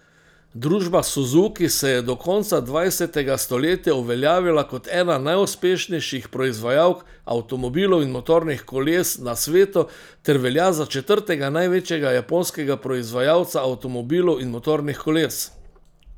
Družba Suzuki se je do konca dvajsetega stoletja uveljavila kot ena najuspešnejših proizvajalk avtomobilov in motornih koles na svetu ter velja za četrtega največjega japonskega proizvajalca avtomobilov in motornih koles.